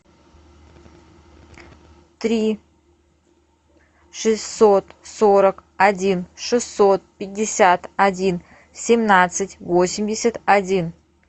три шестьсот сорок один шестьсот пятьдесят один семнадцать восемьдесят один